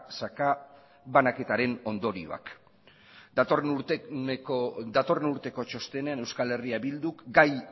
sakabanaketaren ondorioak datorren urteko txostenean euskal herria bilduk gai